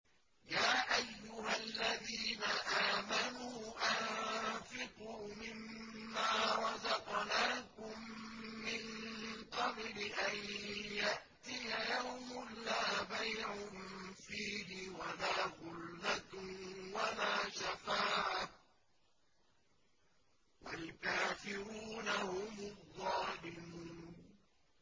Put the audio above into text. يَا أَيُّهَا الَّذِينَ آمَنُوا أَنفِقُوا مِمَّا رَزَقْنَاكُم مِّن قَبْلِ أَن يَأْتِيَ يَوْمٌ لَّا بَيْعٌ فِيهِ وَلَا خُلَّةٌ وَلَا شَفَاعَةٌ ۗ وَالْكَافِرُونَ هُمُ الظَّالِمُونَ